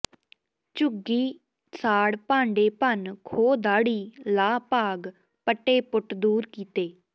ਝੁੱਘੀ ਸਾੜ ਭਾਂਡੇ ਭੰਨ ਖੋਹ ਦਾੜ੍ਹੀ ਲਾਹ ਭਾਗ ਪਟੇ ਪੁਟ ਦੂਰ ਕੀਤੇ